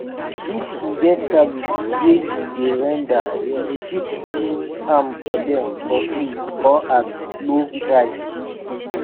if e get service wey you dey render you fit do am for dem for free or at low price